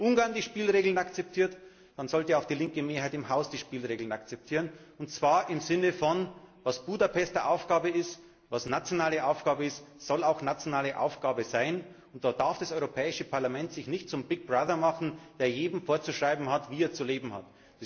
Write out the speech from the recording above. Wenn Ungarn die Spielregeln akzeptiert, dann sollte auch die linke Mehrheit im Haus die Spielregeln akzeptieren und zwar im Sinne von Was Budapester Aufgabe ist, was nationale Aufgabe ist, soll auch nationale Aufgabe sein, und da darf sich das Europäische Parlament nicht zum Big Brother machen, der jedem vorschreibt, wie er zu leben hat.